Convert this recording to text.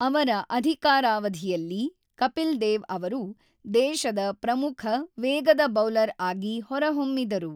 ಅವರ ಅಧಿಕಾರಾವಧಿಯಲ್ಲಿ ಕಪಿಲ್ ದೇವ್ ಅವರು ದೇಶದ ಪ್ರಮುಖ ವೇಗದ ಬೌಲರ್ ಆಗಿ ಹೊರಹೊಮ್ಮಿದರು.